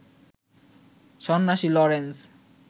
"সন্ন্যাসী লরেন্স